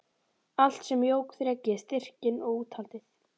Allt sem jók þrekið, styrkinn og úthaldið.